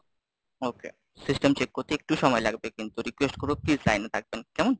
okay System check করতে একটু সময় লাগবে, কিন্তু request করবো please লাইনে থাকবেন, কেমন।